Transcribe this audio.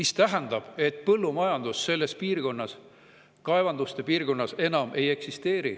See tähendab, et põllumajandus selles piirkonnas, kaevanduste piirkonnas, enam ei eksisteeri.